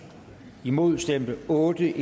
imod stemte otte